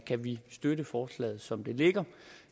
kan vi støtte forslaget som det ligger